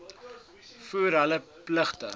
voer hul pligte